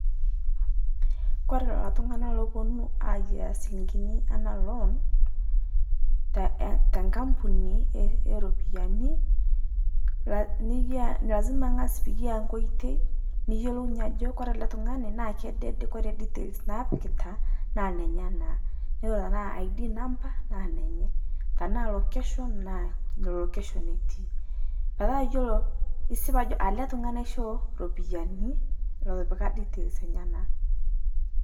kore leloo tung'ana loponuu aiyaa silinkinii anaa loan tenkampunii eropiyanii lazima[csnaz piyaa nkoitei niyelounyee ajoo kore alee tung'ani naa kedede ajo kore details naapikita naa nenyanaa netanaa id number naa nenyanaa tanaa location naa lo location etii petaa iyoloo isip ajoo alee tung'ani aishoo ropiyanii loo etipika details enyana.